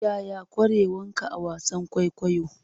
Yaya ƙwarewanka a wasan kwaikwayo?